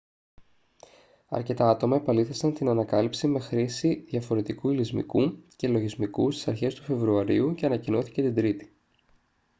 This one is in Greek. αρκετά άτομα επαλήθευσαν την ανακάλυψη με τη χρήση διαφορετικού υλισμικού και λογισμικού στις αρχές του φεβρουαρίου και ανακοινώθηκε την τρίτη